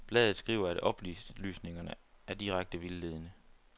Bladet skriver, at oplysningerne er direkte vildledende.